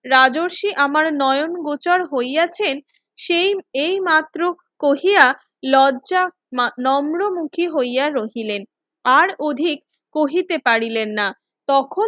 রাজশাহী আমার নয়ন গোচর হইয়াছেন সেই এই মাত্র কোহিয়া লজ্জা নরম মুখী হইয়া রহিলেন আর অধিক কহিতে পারিলেন না তখন